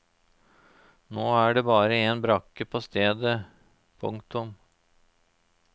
Nå er det bare en brakke på stedet. punktum